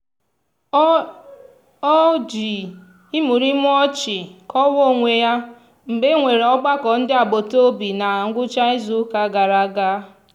o um ji imurimu ọchị kọwaa onwe ya mgbe e nwere ọgbakọ ndị agbataobi na ngwụcha izuụka gara aga.